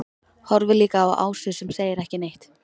Horfir líka á Ásu sem segir ekki neitt.